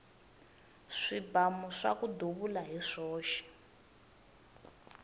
swibamu swaku duvula hi swoxe